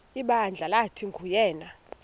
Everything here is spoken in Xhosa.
ibandla lathi nguyena